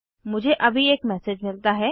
मुझे अभी एक मैसेज मिलता है